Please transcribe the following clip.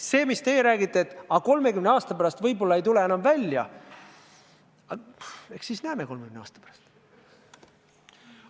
See, mida teie räägite, et aga võib-olla 30 aasta pärast ei tule enam välja – eks me seda 30 aasta pärast näeme.